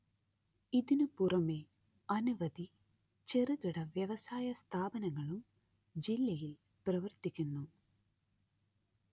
ഇതിനു പുറമേ അനവധി ചെറുകിട വ്യവസായ സ്ഥാപനങ്ങളും ജില്ലയില്‍ പ്രവര്‍ത്തിക്കുന്നു